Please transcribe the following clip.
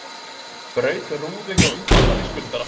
Braut rúðu hjá umboðsmanni skuldara